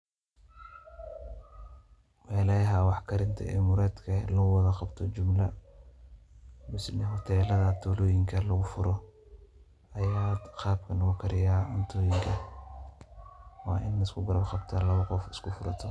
melaha wax karinta ee muradhka ee loguwadha qabto jumla mise hotelada tuloonyinka lugufuro aya qabkan logukariya cuuntoyinka waa in laiskugarabqabta lawa qof iskufurato.